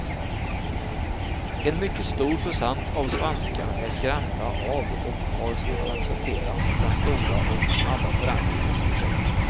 En mycket stor procent av svenskarna är skrämda av och har svårt att acceptera den stora och snabba förändring som skett.